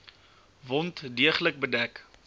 wond deeglik bedek